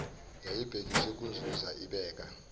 yayibhekiswe kunzuza ibeka